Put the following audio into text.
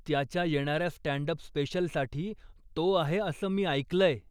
त्याच्या येणाऱ्या stand up स्पेशलसाठी तो आहे असं मी ऐकलंय.